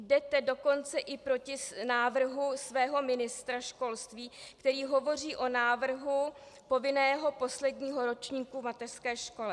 Jdete dokonce i proti návrhu svého ministra školství, který hovoří o návrhu povinného posledního ročníku v mateřské škole.